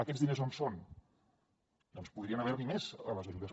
aquests diners on són doncs podrien haver n’hi més a les ajudes